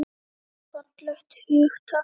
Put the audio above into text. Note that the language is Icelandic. Og það er fallegt hugtak.